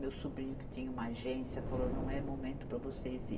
Meu sobrinho que tinha uma agência falou, não é momento para vocês ir.